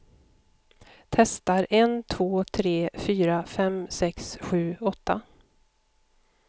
Testar en två tre fyra fem sex sju åtta.